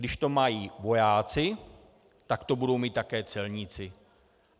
Když to mají vojáci, tak to budou mít také celníci.